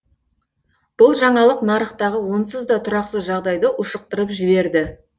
бұл жаңалық нарықтағы онсыз да тұрақсыз жағдайды ушықтырып жіберді